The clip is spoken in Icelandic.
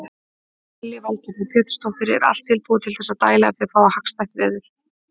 Lillý Valgerður Pétursdóttir: Er allt tilbúið til þess að dæla ef þið fáið hagstætt veður?